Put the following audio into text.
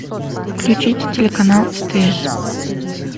включи телеканал стс